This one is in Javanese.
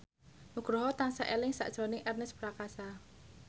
Nugroho tansah eling sakjroning Ernest Prakasa